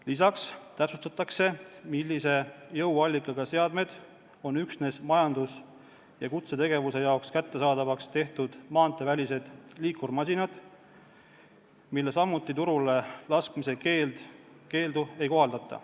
Lisaks täpsustatakse, millise jõuallikaga seadmed on üksnes majandus- ja kutsetegevuse jaoks kättesaadavaks tehtud maanteevälised liikurmasinad, millele samuti turule laskmise keeldu ei kohaldata.